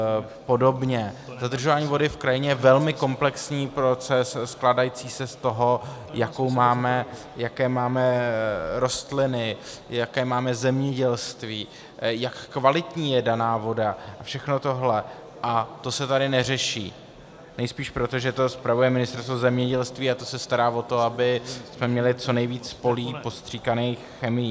Zadržování vody v krajině je velmi komplexní proces, skládající se z toho, jaké máme rostliny, jaké máme zemědělství, jak kvalitní je daná voda, a všechno tohle, a to se tady neřeší, nejspíš proto, že to spravuje Ministerstvo zemědělství, a to se stará o to, abychom měli co nejvíc polí postříkaných chemií.